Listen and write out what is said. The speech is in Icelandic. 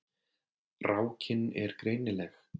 Rákin er greinileg.